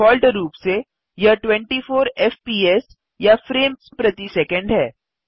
default रूप से यह 24 एफपीएस या फ्रेम्स प्रति सैकंड है